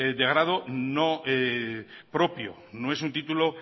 de grado no propio no es un título